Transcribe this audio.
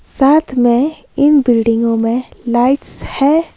साथ में इन बिल्डिगों में लाइट्स है।